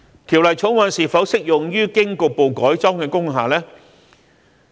《條例草案》是否適用於經局部改裝的工廈呢？